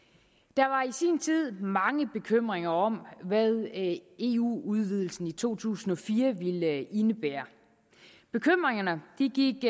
der var i sin tid mange bekymringer om hvad eu udvidelsen i to tusind og fire ville indebære bekymringerne gik